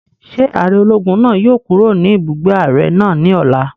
Ṣé ààrẹ ológun náà yóò kúrò ní ibùgbé ààrẹ náà ní ọ̀la?